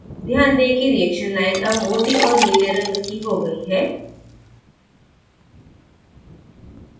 ध्यान दें कि reaction line अब मोटी और नीले रंग की हो गई है